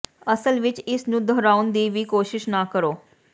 ਅਸਲ ਵਿੱਚ ਇਸ ਨੂੰ ਦੁਹਰਾਉਣ ਦੀ ਵੀ ਕੋਸ਼ਿਸ਼ ਨਾ ਕਰੋ